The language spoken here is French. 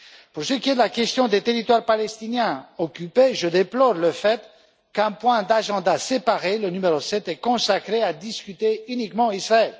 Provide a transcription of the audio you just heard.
Pour ce qui est de la question des territoires palestiniens occupés, je déplore le fait qu'un point d'ordre du jour séparé le numéro 7 soit consacré à discuter uniquement d'Israël.